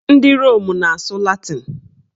Ndị Rom na-asụ latịn